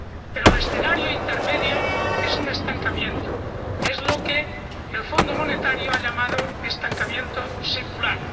Pero el escenario intermedio es un estancamiento, lo que el Fondo Monetario ha llamado estancamiento secular.